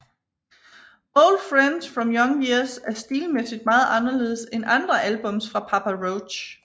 Old Friends From Young Years er stilmæssigt meget anderledes end andre albums fra Papa Roach